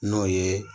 N'o ye